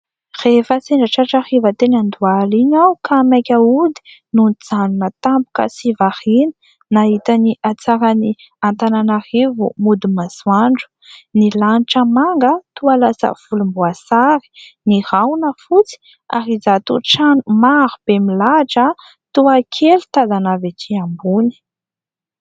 Rehefa sendra tratra hariva teny andoaly iny aho, ka maika hody no nijanona tampoka sy variana nahita ny atsaran'ny Antananarivo mody masoandro. Ny lanitra manga toa lasa volom-boasary. Ny rahona fotsy ary injato trano maro be milahatra toa kely tazana ety ambony.